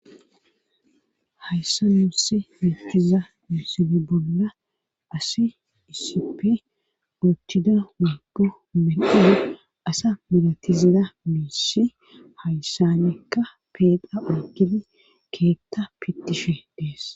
hayssa nuusi meatiza miisini bolla asi isipe goochchida weegu melena asa milatizada miisi hayssanekka peeqa agidi keetta pittishe dees